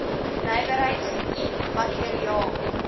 nywerheids i materiaal